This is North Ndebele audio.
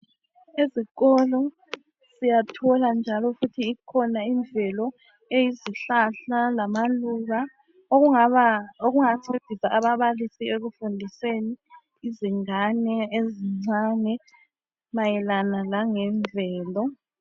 Ezikolo siyathola imvelo kanye lezihlahla ezingancedisa ekufundiseni izingane ezincane mayelana langemvelo.